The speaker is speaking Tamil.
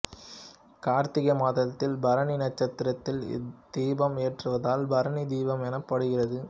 கார்த்திகை மாதத்தில் பரணி நட்சத்திரத்தில் இத்தீபம் ஏற்றுவதால் பரணி தீபம்எனப்படுகிறது